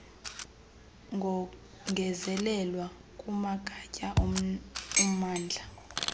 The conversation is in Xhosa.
kongezelelwa kumagatya ommandla